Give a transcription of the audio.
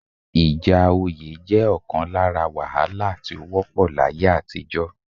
Ìjà oyé jẹ́ ọ̀kan lára wàhálà tí ó wọ́pọ̀ láyé àtijọ́